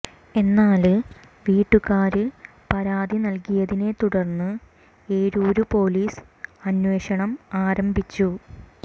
എന്നാല് വീട്ടുകാര് പരാതി നല്കിയതിനെ തുടര്ന്ന് ഏരൂര് പോലീസ് അന്വേഷണം ആരംഭിച്ചു